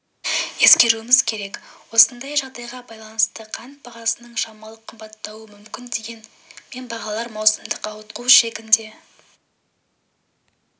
ескеруіміз керек осындай жағдайға байланысты қант бағасының шамалы қымбаттауы мүмкін дегенмен бағалар маусымдық ауытқу шегінде